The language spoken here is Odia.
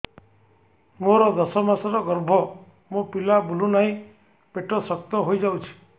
ମୋର ଦଶ ମାସର ଗର୍ଭ ମୋ ପିଲା ବୁଲୁ ନାହିଁ ପେଟ ଶକ୍ତ ହେଇଯାଉଛି